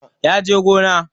Ya je gona